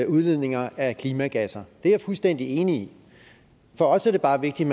udledninger af klimagasser er jeg fuldstændig enig i for os er det bare vigtigt